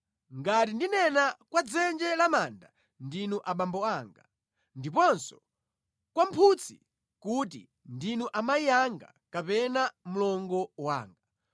ngati ndinena kwa dzenje la manda ‘ndinu abambo anga,’ ndiponso kwa mphutsi kuti, ‘ndinu amayi anga’ kapena ‘mlongo wanga,’